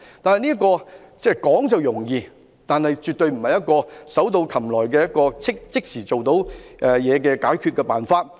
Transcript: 可是，這做法說是容易，但絕對不是手到擒來、立竿見影的解決辦法。